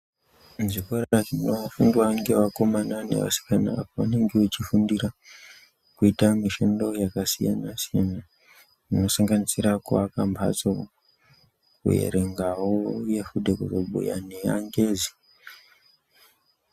Zvikora zvinofundwa ngeakomana neasikana paanenge echifundira kuita mishando yakasiyana siyana inosanganisira kuaka mphatso, kuerengawo uye wo kuzobhuya neangezi